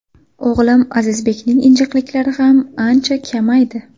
O‘g‘lim Azizbekning injiqliklari ham ancha kamaydi.